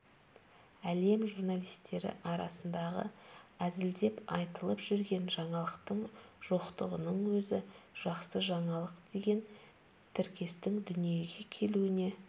әлем журналистері арасындағы әзілдеп айтылып жүрген жаңалықтың жоқтығының өзі жақсы жаңалық деген тіркестің дүниеге келуіне